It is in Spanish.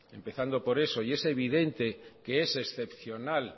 empezando por eso y es evidente que es excepcional